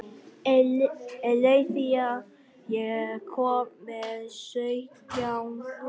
Eileiþía, ég kom með sautján húfur!